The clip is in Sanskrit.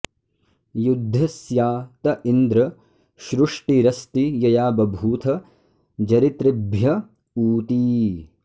यद्ध स्या त इन्द्र श्रुष्टिरस्ति यया बभूथ जरितृभ्य ऊती